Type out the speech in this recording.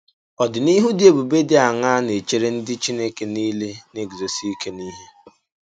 Ọdịnìhù dị èbùbè dị àṅàà na-echèrè ndị Chínèké niile na-eguzòsi ike n’ihe?